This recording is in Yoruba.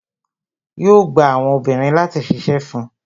Yo gba àwọn obìnrin láti ṣíṣe fun